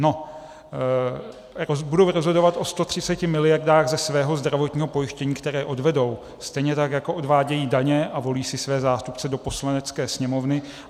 No, budou rozhodovat o 130 miliardách ze svého zdravotního pojištění, které odvedou, stejně tak, jako odvádějí daně a volí si své zástupce do Poslanecké sněmovny.